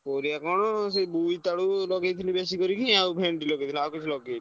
ପରିବା କଣ ସେ ବୋଇତଳୁ ଲଗେଇଥିଲି ବେସିକରି ଆଉ ଭେଣ୍ଠି ଲଗେଇଥିଲି ଆଉ କିଛି ଲଗେଇନି।